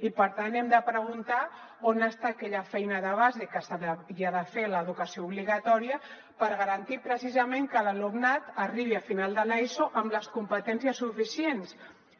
i per tant hem de preguntar on està aquella feina de base que s’havia de fer a l’educació obligatòria per garantir precisament que l’alumnat arribi a final de l’eso amb les competències suficients